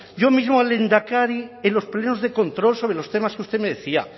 yo mismo al lehendakari en los plenos de control sobre los temas que usted me decía